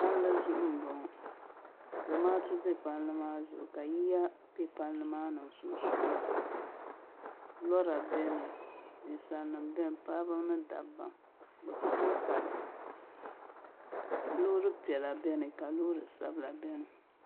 Palli zuɣu n boŋɔ zamaatu bɛ palli maa zuɣu ka yiya bɛ palli maa sunsuuni lora biɛni ninsalnima biɛni paɣaba mini dabba bi bi ku tooi Kali loori piɛla biɛni ka loori sabila bieni